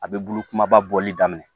A bɛ bulu kumaba bɔli daminɛ